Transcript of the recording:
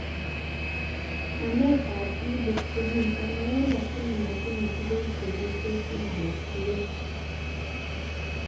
Nametab Ebooks komiten alakini matinye tuguk chekitesyi alak tugul